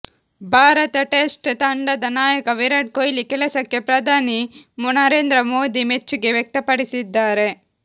Bharat test ತಂಡದ ನಾಯಕ ವಿರಾಟ್ ಕೊಹ್ಲಿ ಕೆಲಸಕ್ಕೆ ಪ್ರಧಾನಿ ನರೇಂದ್ರ ಮೋದಿ ಮೆಚ್ಚುಗೆ ವ್ಯಕ್ತಪಡಿಸಿದ್ದಾರೆ